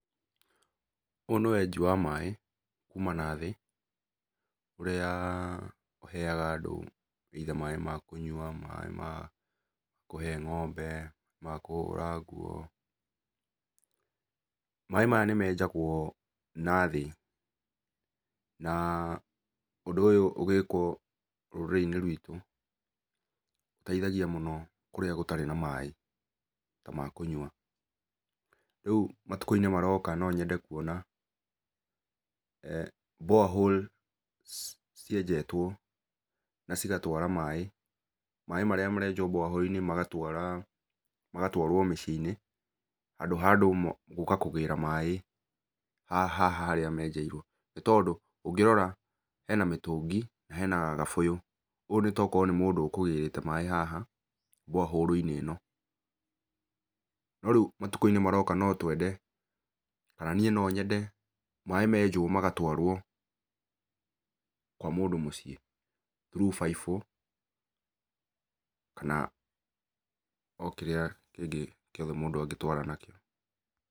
Ũyũ nĩ wenji wa maĩ kuma nathĩ ũrĩa ũheaga andũ either maĩ ma kũnyua, maĩ ma kũhe ng'ombe, ma kũhũra nguo. Maĩ maya nĩmenjagũo nathĩ, naa ũndũ ũyũ ũgĩkwo rũrĩrĩ-inĩ rwitũ, ũteithagia mũno kũrĩa gũtarĩ na maĩ, ta makũnyua. Rĩu matukũ-inĩ maroka no nyende kuona borehole cienjetwo na cigatwara maĩ. Maĩ marĩa marenjwo borehole -inĩ magatwara magatwarũo mũciĩ-inĩ, handũ ha andũ gũka kũgĩra maĩ, haha harĩa menjeirwo. Nĩtondũ, ũngĩrora, hena mĩtungi na hena gabũyũ, ũyũ nĩ togũkorwo nĩ mũndũ ũkũgĩrĩte maĩ haha borehole -inĩ ĩno, no rĩu matukũ-inĩ maroka no twende, kana niĩ no nyende, maĩ menjwo magatwarwo kwa mũndũ mũciĩ, through baibũ kana okĩrĩa kĩngĩ gĩothe mũndũ angĩtwara nakĩo.